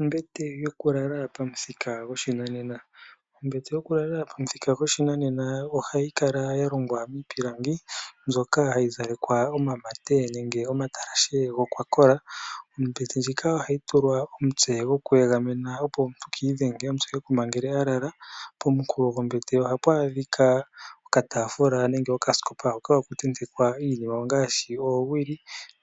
Ombete yokulala pamuthika goshinanena. Ombete yokulala pamuthika goshinanena ohayi kala ya longwa miipilangi, mbyoka hayi zalekwa omamate nenge omatalashe gokwakola. Ombete ndjika ohayi tulwa omutse goku egamena, opo omuntu ka idhenge omutse ekuma ngele a lala. Pomunkulo gombete ohapu adhika okatafula nenge okasikopa hoka hapu tentekwa iinima, ongaashi oowili